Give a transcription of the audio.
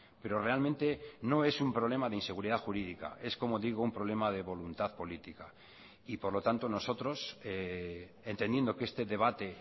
pero realmente no es un problema de inseguridad jurídica es como digo un problema de voluntad política y por lo tanto nosotros entendiendo que este debate